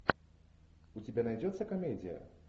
у тебя найдется комедия